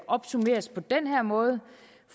opsummeres på den her måde